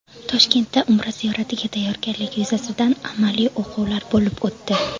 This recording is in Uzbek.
Toshkentda Umra ziyoratiga tayyorgarlik yuzasidan amaliy o‘quvlar bo‘lib o‘tdi.